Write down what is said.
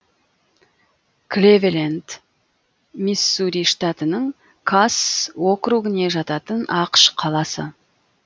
клэвелэнд миссури штатының касс округіне жататын ақш қаласы